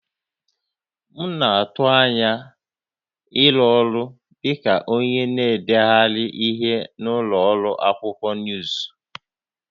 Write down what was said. M na-atụ anya ịrụ ọrụ dị ka onye na-edegharị ihe na ụlọ ọrụ akwụkwọ nuuzu